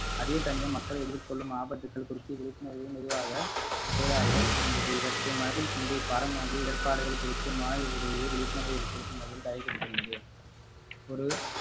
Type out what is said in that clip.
அதேசமயம் மக்கள் எதிர்கொள்ளும் ஆபத்துக்கள் குறித்து விழிப்புணர்வும் உருவாக இருந்தது இவற்றை மனதில் கொண்டே இப்பாடமாக இடர்பாடுகள் குறித்து மாணவர்களிடையே விழிப்புணர்வு ஏற்படுத்தும் வகையில் தயாரிக்கப்பட்டுள்ளது ஒரு